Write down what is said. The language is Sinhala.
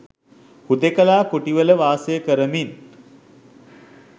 හුදෙකලා කුටිවල වාසය කරමින්